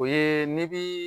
O ye ni bi